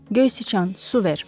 Göy sıçan, su ver.